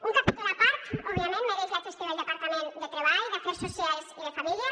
un capítol a part òbviament mereix la gestió del departament de treball d’afers socials i famílies